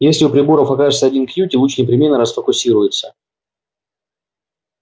и если у приборов окажется один кьюти луч непременно расфокусируется